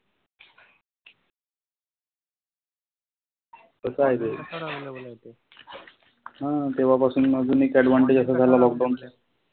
हा तेंव्हा पासून अजून एक advantage असा झाला lockdown चा.